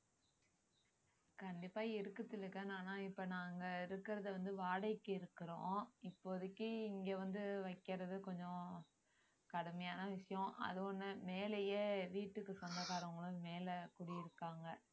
கண்டிப்பா இருக்கு திலகன் ஆனா இப்ப நாங்க இருக்கறது வந்து வாடகைக்கு இருக்குறோம் இப்போதைக்கு இங்க வந்து வைக்கிறது கொஞ்சம் கடுமையான விஷயம் அது ஒண்ணு மேலயே வீட்டுக்கு சொந்தக்காரங்களும் மேல குடியிருக்காங்க